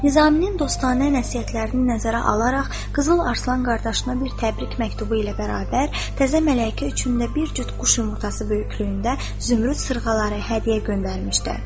Nizaminin dostanə nəsihətlərini nəzərə alaraq Qızıl Arslan qardaşına bir təbrik məktubu ilə bərabər təzə mələkə üçün də bir cüt quş yumurtası böyüklüyündə zümrüd sırğaları hədiyyə göndərmişdi.